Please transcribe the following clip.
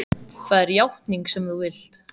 Það er játningin sem þú vilt.